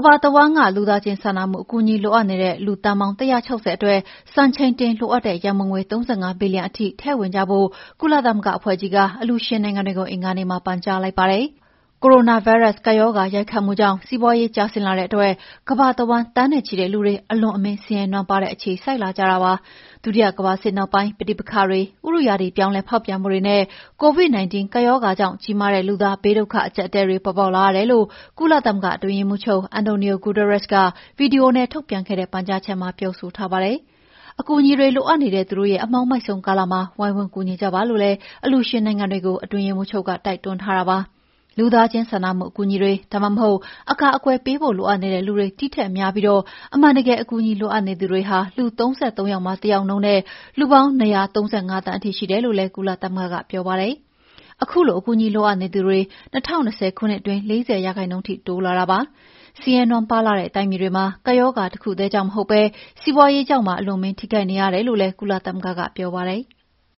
ဘာတဝန်းက လူသားချင်း စာနာမှုအကူအညီ လိုအပ်နေတဲ့ လူသန်းပေါင်း ၁၆၀ အတွက် စံချိန်တင်လိုအပ်တဲ့ ရန်ပုံငွေ ၃၅ ဘီလီယံထိ ထည့်ဝင်ကြဖို့ ကုလသမဂ္ဂအဖွဲ့ကြီးက အလှူရှင်နိုင်ငံတွေကို အင်္ဂါနေ့မှာ ပန်ကြားလိုက်ပါတယ်။ ကိုရိုနာဗိုင်းရပ်စ်ကပ်ရောဂါ ရိုက်ခတ်မှုကြောင့် စီးပွါးရေး ကျဆင်းလာတဲ့အတွက် ကမ္ဘာတဝန်းက သန်းနဲ့ချီတဲ့လူတွေ အလွန်အမင်း ဆင်းရဲနွမ်းပါးတဲ့ အခြေစိုက်လာကြတာပါ။ ဒုတိယကမ္ဘာစစ်နောက်ပိုင်း ပဋိပက္ခတွေ၊ ဥတုရာသီပြောင်းလဲဖောက်ပြန်မှုတွေနဲ့ COVID-19 ကပ်ရောဂါကြောင့် ကြီးမားတဲ့ လူသား ဘေးဒုက္ခ အကြပ်အတည်းတွေ ပေါ်ပေါက်လာရတယ်လို့ ကုလသမဂ္ဂအတွင်းရေးမှုးချုပ် Antonio Guterres က ဗီဒီယိုနဲ့ ထုတ်ပြန်ခဲ့တဲ့ ပန်ကြားချက်မှာ ပြောဆိုထားပါတယ်။ အကူအညီတွေလိုအပ်နေတဲ့ သူတို့ရဲ့ အမှောင်မိုက်ဆုံးကာလမှာ ဝိုင်းဝန်းကူညီကြပါလို့ အလှူရှင်နိုင်ငံတွေကို အတွင်းရေးမှူးချုပ်က တိုက်တွန်းထားပါတယ်။ လူသားချင်းစာနာမှုအကူအညီတွေ၊ ဒါမှအဟုတ် အကာအကွယ်ပေးဖို့ လိုအပ်နေတဲ့လူတွေ ဒီထက်များပြီး အမှန်တကယ် အကူအညီလိုအပ်နေသူတွေဟာ လူ ၃၃ ယောက်မှာတယောက်နှုန်းနဲ့ လူပေါင်း ၂၃၅ သန်းထိ ရှိတယ်လို့လည်း ကုလသမဂ္ဂကပြောပါတယ်။ ခုလို အကူအညီ လိုအပ်နေသူတွေ ၂၀၂၀ ခုနှစ်အတွင်း ၄၀% ထိတိုးလာတာလည်းဖြစ်ပါတယ်။ ဆင်းရဲနွမ်းပါးလှတဲ့ တိုင်းပြည်တွေမှာ ကပ်ရောဂါ တခုတည်းကြောင့် မဟုတ်ဘဲ စီးပွါးရေးကြောင့်ပါ အလွန်အမင်း ထိခိုက်နေရတယ်လို့လည်း ကုလသမဂ္ဂကပြောပါတယ်။